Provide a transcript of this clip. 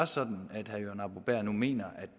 sådan at herre jørgen arbo bæhr nu mener at